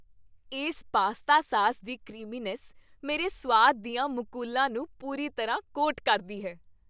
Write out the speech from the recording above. ਇਸ pasta sauce ਦੀ creaminess ਮੇਰੇ ਸੁਆਦ ਦੀਆਂ ਮੁਕੁਲਾਂ ਨੂੰ ਪੂਰੀ ਤਰ੍ਹਾਂ ਕੋਟ ਕਰਦੀ ਹੈ।